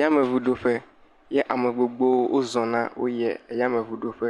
Yameŋuɖoƒe ye ame gbogbowo wozɔna woyie yameŋɔɖoƒe.